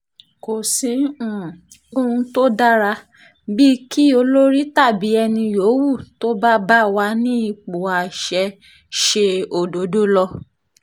kò sí um ohun tó dára bíi kí olórí tàbí ẹni yòówù tó bá bá wà ní ipò àṣẹ ṣe um òdodo lọ